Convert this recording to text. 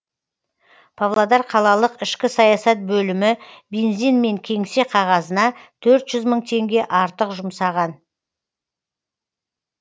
павлодар қалалық ішкі саясат бөлімі бензин мен кеңсе қағазына төрт жүз мың теңге артық жұмсаған